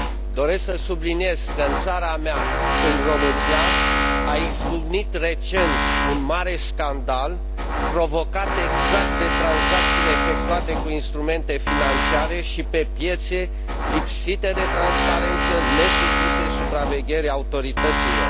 Doresc să subliniez că în țara mea, în România, a izbucnit recent un mare scandal, provocat exact de tranzacțiile efectuate cu instrumente financiare și pe piețe lipsite de transparență, nesupuse supravegherii autorităților.